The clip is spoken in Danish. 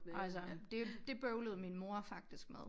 Altså det det bøvlede min mor faktisk med